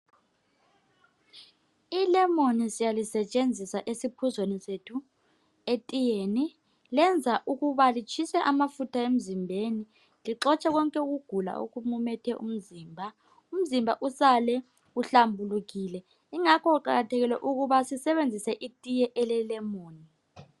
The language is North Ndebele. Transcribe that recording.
Ilemoni siyalisetshenzisa esiphuzweni sethu, etiyeni, lenza ukuba litshise amafutha emzimbeni, lixotshe konke ukugula okumumethe umzimba. Umzimba usale uhlambulukile, ingakho kuqakathekile ukuba sisebenzise itiye elelemoni